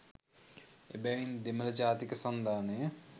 එබැවින් දෙමළ ජාතික සන්ධානය